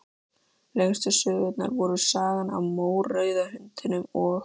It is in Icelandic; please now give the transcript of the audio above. Lengstu sögurnar voru Sagan af mórauða hundinum og